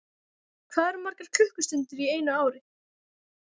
Hvað eru margar klukkustundir í einu ári?